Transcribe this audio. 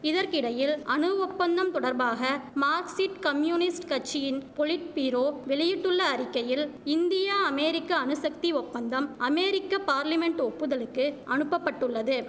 இதற்கிடையில் அணு ஒப்பந்தம் தொடர்பாக மார்க்சிட் கம்யூனிஸ்ட் கட்சியின் பொலிட் பீரோ வெளியிட்டுள்ள அறிக்கையில் இந்தியா அமேரிக்க அணுசக்தி ஒப்பந்தம் அமேரிக்கப் பார்லிமென்ட் ஒப்புதலுக்கு அனுப்ப பட்டுள்ளது